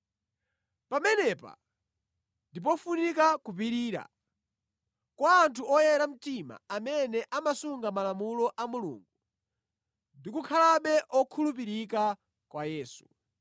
Pamenepa ndi pofunika kupirira kwa anthu oyera mtima amene amasunga malamulo a Mulungu ndi kukhalabe okhulupirika kwa Yesu.